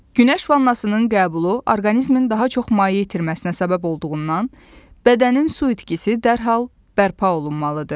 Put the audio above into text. Günəş vannasının qəbulu orqanizmin daha çox maye itirməsinə səbəb olduğundan, bədənin su itkisi dərhal bərpa olunmalıdır.